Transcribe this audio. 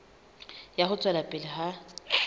ya ho tswela pele ha